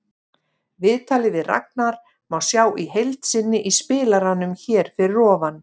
Viðtalið við Ragnar má sjá í heild sinni í spilaranum hér fyrir ofan.